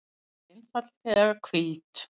Hann væri einfaldlega hvíld.